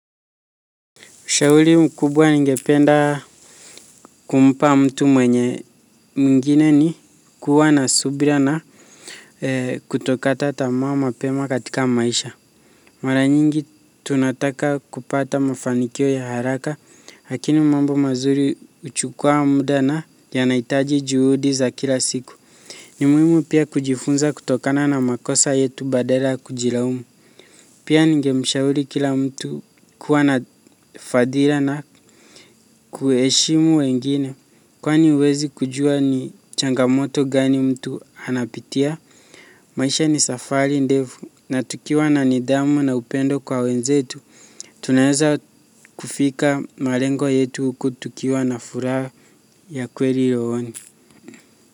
Ushauri mkubwa ningependa kumpa mtu mwenye, mwingine ni kuwa na subira na kutokata tamaa mapema katika maisha. Mara nyingi tunataka kupata mafanikio ya haraka, lakini mambo mazuri huchukua muda na yanahitaji juhudi za kila siku. Ni muhimu pia kujifunza kutokana na makosa yetu badala kujilaumu. Pia ningemshauri kila mtu kuwa na subira na kuheshimu wengine kwani huwezi kujua ni changamoto gani mtu anapitia. Maisha ni safari ndefu na tukiwa na nidhamu na upendo kwa wenzetu. Tunaweza kufika malengo yetu huku tukiwa na furaha ya kweli moyoni.